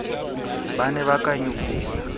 ba ne ba ka nyopisa